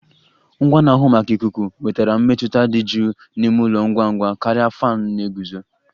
Ngwa na-ahụ maka ikuku wetara mmetụta dị jụụ n'ime ụlọ ngwa ngwa karịa fan na-eguzo